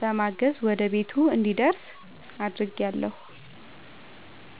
በማገዝ ወደ ቤቱ እንዲደርስ አድርጌአለሁ።